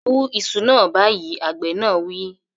Wú iṣu náà báyìí, Àgbẹ̀ náà wí